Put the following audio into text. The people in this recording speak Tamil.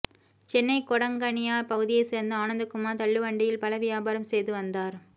சென்னை கொடங்கனியார் பகுதியை சேர்ந்த ஆனந்தகுமார் தள்ளுவண்டியில் பழ வியாபாரம் செய்து வந்தார்